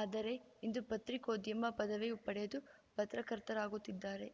ಆದರೆ ಇಂದು ಪತ್ರಿಕೋದ್ಯಮ ಪದವಿ ಪಡೆದು ಪತ್ರಕರ್ತರಾಗುತ್ತಿದ್ದಾರೆ